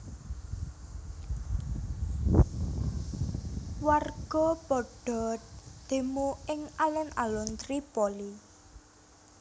Warga padha demo ing alun alun Tripoli